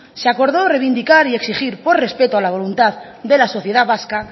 se acordó reivindicar y exigir por respeto a la voluntad de la sociedad vasca